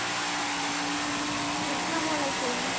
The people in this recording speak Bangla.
আস্সালাহমুলাইকুম